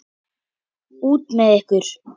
Út með ykkur!